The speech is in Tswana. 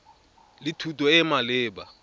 le thuto e e maleba